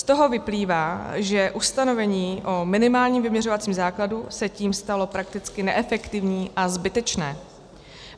Z toho vyplývá, že ustanovení o minimálním vyměřovacím základu se tím stalo prakticky neefektivní a zbytečné.